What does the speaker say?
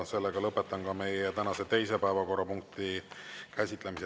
Lõpetan meie tänase teise päevakorrapunkti käsitlemise.